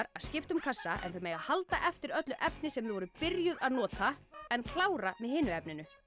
að skipta um kassa en þau mega halda eftir öllu efni sem þau voru byrjuð að nota en klára með hinu efninu